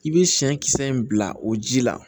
I bɛ siyɛn kisɛ in bila o ji la